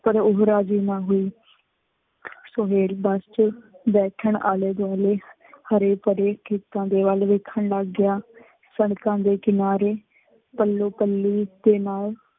ਪਰ ਉਹ ਰਾਜੀ ਨਾ ਹੋਈ। ਸੁਹੇਲ ਬੱਸ ਚ ਬੈਠਣ ਆਲੇ ਦੁਆਲੇ ਹਰੇ ਭਰੇ ਖੇਤਾਂ ਦੇ ਵੱਲ ਵੇਖਣ ਲੱਗ ਗਿਆ, ਸੜਕਾਂ ਦੇ ਕਿਨਾਰੇ, ਪੱਲੋ ਪਲੀ ਦੇ ਨਾਲ,